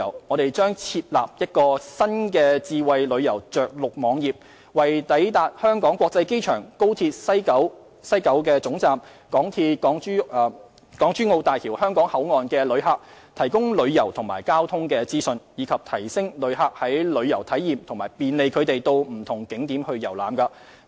我們將設立一個新的智慧旅遊着陸網頁，為抵達香港國際機場、高鐵西九龍總站及港珠澳大橋香港口岸的旅客，提供旅遊及交通資訊，以提升旅客的旅遊體驗和便利他們到不同景點遊覽。